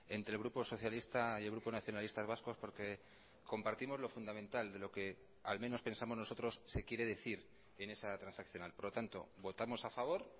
entre grupo socialista y el grupo nacionalistas vascos porque compartimos lo fundamental de lo que al menos pensamos nosotros se quiere decir en esa transaccional por lo tanto votamos a favor